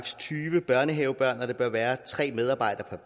tyve børnehavebørn og at der bør være tre medarbejdere